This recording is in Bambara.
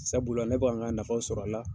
Sabula ne bɛ ka n ka nafaw sɔrɔ a la.